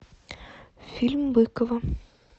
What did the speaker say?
фильм быкова